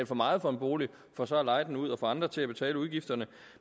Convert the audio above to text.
for meget for en bolig for så at leje den ud og få andre til at betale udgifterne